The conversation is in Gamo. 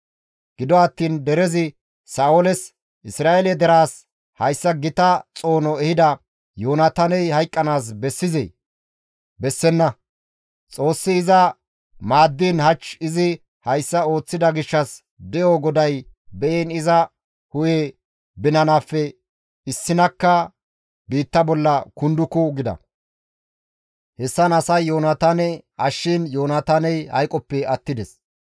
Gido attiin derezi Sa7ooles, «Isra7eele deraas hayssa gita xoono ehida Yoonataaney hayqqanaas bessizee? Bessenna; Xoossi iza maaddiin hach izi hayssa ooththida gishshas de7o GODAY be7iin iza hu7e binanaafe issinakka biitta bolla kunduku» gida; hessan asay Yoonataane ashshiin Yoonataaney hayqoppe attides.